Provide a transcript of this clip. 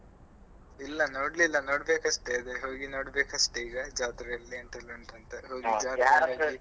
ಇಲ್ಲ ನೋಡ್ಲಿಲ್ಲ ನೋಡ್ಬೇಕಷ್ಟೆ ಅದೇ ಹೋಗಿ ನೋಡ್ಬೇಕಷ್ಟೆ ಈಗ ಜಾತ್ರೆಯೆಲ್ಲ ಎಂಥೆಲ್ಲಾ ಉಂಟು ಅಂತ .